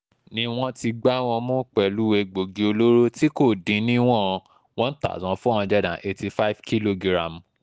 ni wọ́n ti gbá wọn mú pẹ̀lú egbòogi olóró tí kò dín ní ìwọ̀n one thousand four hundred and eighty five kìlógíráàmù